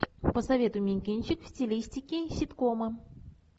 посоветуй мне кинчик в стилистике ситкома